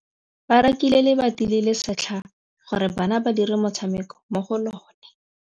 Ba rekile lebati le le setlha gore bana ba dire motshameko mo go lona.